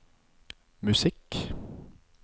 musikk